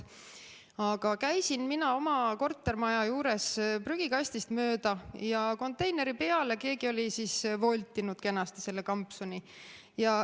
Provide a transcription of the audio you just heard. Aga käisin mina oma kortermaja juures prügikastist mööda ja konteineri peale oli keegi kenasti voltinud selle kampsuni.